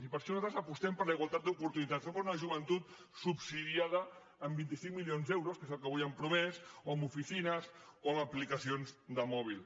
i per això nosaltres apostem per la igualtat d’oportunitats no per una joventut subsidiada amb vint cinc milions d’euros que és el que avui han promès o amb oficines o amb aplicacions de mòbil